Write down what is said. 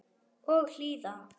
Og hlýða.